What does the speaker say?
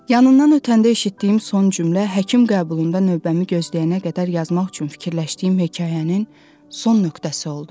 Yanından ötəndə eşitdiyim son cümlə həkim qəbulunda növbəmi gözləyənə qədər yazmaq üçün fikirləşdiyim hekayənin son nöqtəsi oldu.